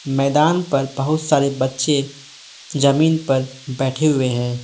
मैदान पर बहुत सारे बच्चे जमीन पर बैठे हुए हैं।